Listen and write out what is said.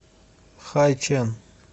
хайчэн